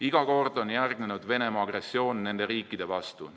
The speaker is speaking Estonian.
Iga kord on järgnenud Venemaa agressioon nende riikide vastu.